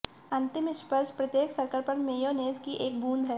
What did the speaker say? अंतिम स्पर्श प्रत्येक सर्कल पर मेयोनेज़ की एक बूंद है